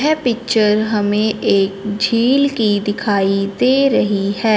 यह पिक्चर हमें एक झील की दिखाई दे रही है।